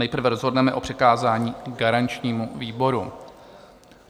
Nejprve rozhodneme o přikázání garančnímu výboru.